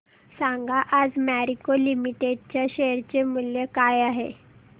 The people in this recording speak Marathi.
सांगा आज मॅरिको लिमिटेड च्या शेअर चे मूल्य काय आहे